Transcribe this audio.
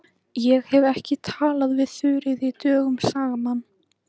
Ég hef ekki talað við Þuríði dögum saman.